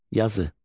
Yazı.